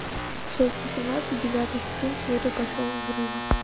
часть восемнадцать девятый сезон теория большого взрыва